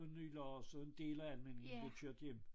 Og Nylars på en del af Almindingen blev kørt hjem